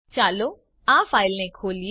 ચાલો આ ફાઈલને ખોલીએ